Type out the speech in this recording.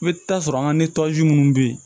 I bɛ taa sɔrɔ an ka ni tɔji munnu bɛ yen